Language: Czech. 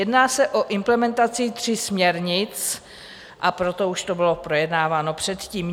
Jedná se o implementaci tří směrnic, a proto už to bylo projednáváno předtím.